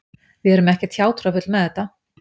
Við erum ekkert hjátrúarfull með þetta